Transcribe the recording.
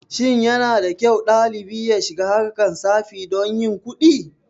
Shin yanada kyau ɗalibi ya shiga harkar tsafi don yin kuɗin.